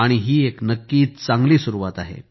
ही एक नक्कीच चांगली सुरुवात आहे